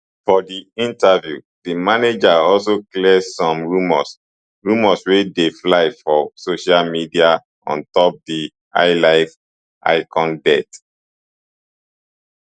for di interview di manager also clear some rumours rumours wey dey fly for social media on top di highlife icon death